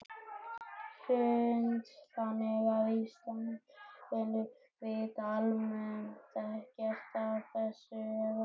Hrund: Þannig að Íslendingar vita almennt ekkert af þessu eða?